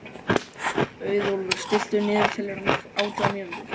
Auðólfur, stilltu niðurteljara á átján mínútur.